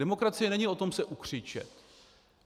Demokracie není o tom se ukřičet.